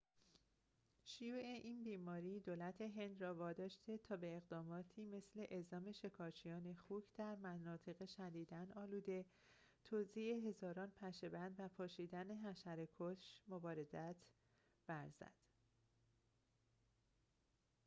شیوع این بیماری دولت هند را واداشته تا به اقداماتی مثل اعزام شکارچیان خوک در مناطق شدیداً آلوده توزیع هزاران پشه‌بند و پاشیدن حشره‌کش مبادرت ورزد